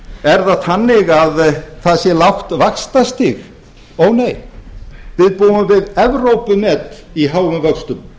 er það þannig að það sé lágt vaxtastig ónei við búum við evrópumet í háum vöxtum